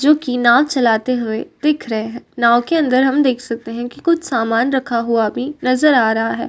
जो कि नाव चलाते हुए दिख रहे है। नाव के अंदर हम देख सकते हैं कि कुछ सामान रखा हुआ भी नजर आ रहा है।